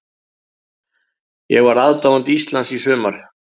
Ég var aðdáandi Íslands í sumar.